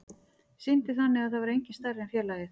Sýndi þannig að það væri enginn stærri en félagið.